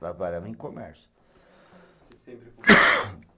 Trabalhava em comércio.